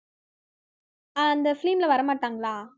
அஹ் அந்த film ல வரமாட்டாங்களா